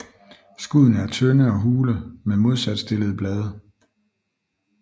Skuddene er tynde og hule med modsat stillede blade